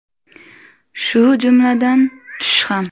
Shu jumladan tush ham.